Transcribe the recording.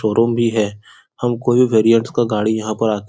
showroom भी है हम कोई भी का गाड़ी यहां पे --